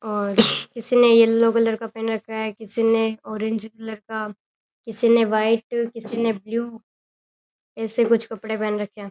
और किसी ने येलो कलर का पहन रखा है किसी ने ऑरेंज कलर का किसी ने व्हाइट किसी ने ब्लू ऐसे कुछ कपड़े पहन रखे हैं।